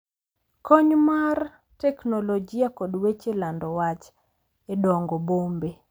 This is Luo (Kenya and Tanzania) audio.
Kony mar teknolojia kod weche lando wach e dongo bombe